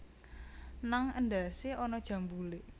Nang endhasé ana jambulé